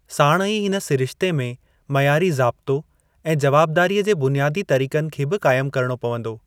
साणु ई हिन सिरिश्ते में मइयारी जाबितो ऐं जवाबदारीअ जे बुनियादी तरीक़नि खे बि क़ाइमु करिणो पवंदो।